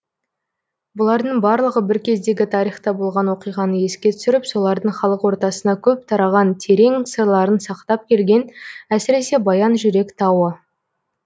бұлардың барлығы бір кездегі тарихта болған оқиғаны еске түсіріп солардың халық ортасына көп тараған терең сырларын сақтап келген әсіресе баян жүрек тауы